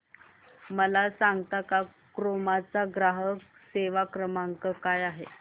मला सांगता का क्रोमा चा ग्राहक सेवा क्रमांक काय आहे